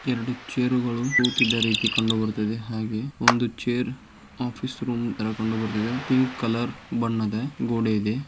ಎರಡು ಚೇರ್ ಗಳು ಕೂತಿದ್ದ ರೀತಿ ಕಂಡು ಬರುತಿದೆ. ಹಾಗೆ ಒಂದು ಚೇರ್ ಆಫೀಸ್ ರೂಮ್ ಯಲ್ಲ ಕಂಡು ಬರುತಿದೆ. ಪಿಂಕ್ ಕಲರ್ ಗೋಡೆ ಇದೆ.